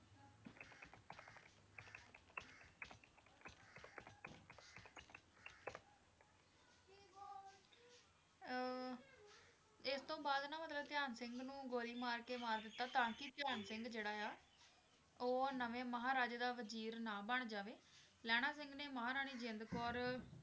ਅਹ ਇਸ ਤੋਂ ਬਾਅਦ ਨਾ ਮਤਲਬ ਧਿਆਨ ਸਿੰਘ ਨੂੰ ਗੋਲੀ ਮਾਰ ਕੇ ਮਾਰ ਦਿੱਤਾ ਤਾਂਕਿ ਧਿਆਨ ਸਿੰਘ ਜਿਹੜਾ ਆ, ਉਹ ਨਵੇਂ ਮਹਾਰਾਜੇ ਦਾ ਵਜ਼ੀਰ ਨਾ ਬਣ ਜਾਵੇ, ਲਹਿਣਾ ਸਿੰਘ ਨੇ ਮਹਾਰਾਣੀ ਜਿੰਦ ਕੌਰ